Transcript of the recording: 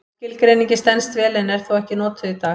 Skilgreiningin stenst vel en er þó ekki notuð í dag.